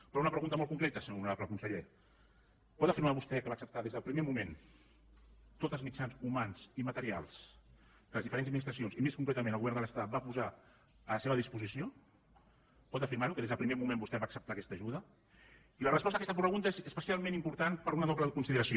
però una pregunta molt concreta senyor honorable conseller pot afirmar vostè que va acceptar des del primer moment tots els mitjans humans i materials que les diferents administracions i més concretament el govern de l’estat van posar a la seva disposició pot afirmar ho que des del primer moment vostè va acceptar aquesta ajuda i la resposta a aquesta pregunta és especialment important per una doble consideració